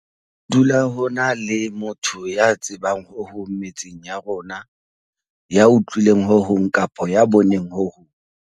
Ho dula ho na le motho ya tsebang ho hong metseng ya rona, ya utlwileng ho hong kapa ya boneng ho hong.